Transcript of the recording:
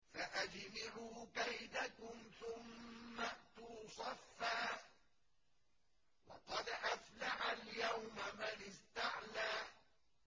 فَأَجْمِعُوا كَيْدَكُمْ ثُمَّ ائْتُوا صَفًّا ۚ وَقَدْ أَفْلَحَ الْيَوْمَ مَنِ اسْتَعْلَىٰ